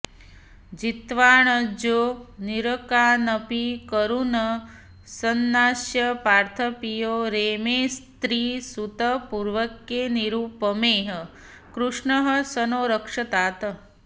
जित्वाऽऽजौ नरकानपि कुरून् संनाश्य पार्थप्रियो रेमे स्त्रीसुतपूर्वकैर्निरुपमैः कृष्णः स नो रक्षतात्